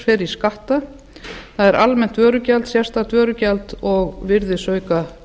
fer í skatta það er almennt vörugjald sérstakt vörugjald og virðisaukaskatt